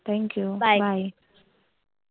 Thank you. Bye